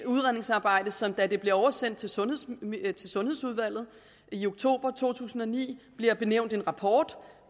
udredningsarbejde som da det blev oversendt til sundhedsudvalget til sundhedsudvalget i oktober to tusind og ni bliver benævnt en rapport